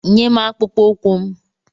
Nyem akpụkpọ ụkwụ m!